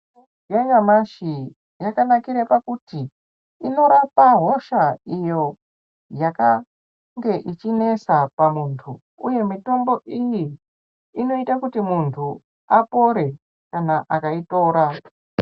Mitombo yanyamashi yakanakira pakuti inorape hosha iyo yakakngr ichinesa pamuntu uye mitombo iyi inoita kuti muntu apore kana akayitora.